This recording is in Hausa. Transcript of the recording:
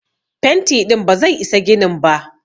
Fenti ɗin ba zai isa ginin ba.